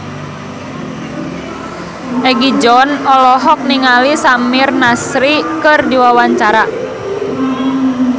Egi John olohok ningali Samir Nasri keur diwawancara